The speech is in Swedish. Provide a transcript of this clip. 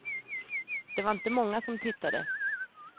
Det var inte många som tittade.